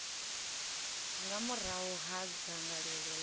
nga murahu ha dzangalelo ḽa